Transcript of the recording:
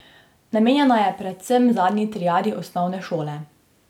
Namenjena je predvsem zadnji triadi osnovne šole.